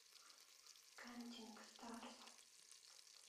кантинг старс